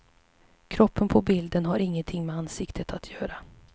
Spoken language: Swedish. Kroppen på bilden har inget med ansiktet att göra.